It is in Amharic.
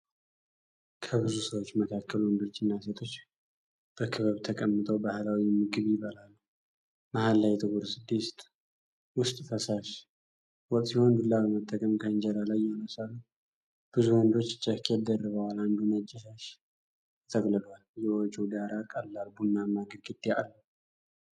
ከብዙ ሰዎች መካከል ወንዶችና ሴቶች በክበብ ተቀምጠው ባህላዊ ምግብ ይበላሉ። መሃል ላይ ጥቁር ድስት ውስጥ ፈሳሽ ወጥሲሆን፣ ዱላ በመጠቀም ከእንጀራ ላይ ያነሳሉ። ብዙ ወንዶች ጃኬት ደርበዋል፣ አንዱ ነጭ ሻሽ ተጠቅልሏል። የውጪው ዳራ ቀላል ቡናማ ግድግዳ አለው።